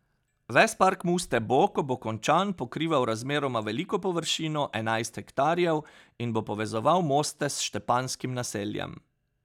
Ves park Muste bo, ko bo končan, pokrival razmeroma veliko površino, enajst hektarjev, in bo povezoval Moste s Štepanjskim naseljem.